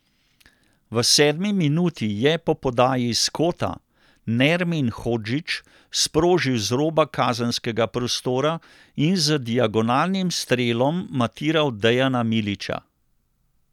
V sedmi minuti je po podaji iz kota Nermin Hodžić sprožil z roba kazenskega prostora in z diagonalnim strelom matiral Dejana Milića.